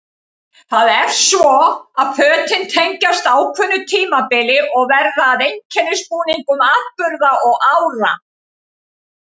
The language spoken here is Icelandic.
Það er svo að fötin tengjast ákveðnu tímabili og verða að einkennisbúningum atburða og ára.